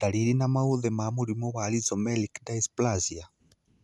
Ndariri na maũthĩ ma mũrimũ wa Rhizomelic dysplasia?